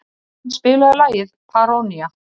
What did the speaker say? Evan, spilaðu lagið „Paranoia“.